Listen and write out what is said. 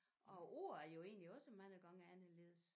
Og æ ord er jo egentlig også mange gange anderledes